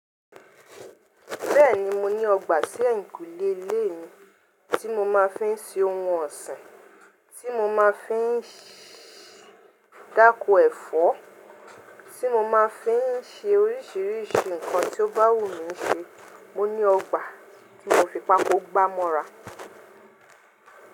Bẹ́ẹ̀ni mo ní ọgbà sí ẹ̀yìnkùlé ilé mi tí mo máa fi ń sin ohun ọ̀sìn, tí mo máa fi ń ṣí dákó ẹ̀fọ́, tí mo máa fi ń ṣe oríṣiríṣi nǹkan tí ó bá wù mí ṣe. Mo ní ọgbà tí mo fi pakó gbá mọ́ra.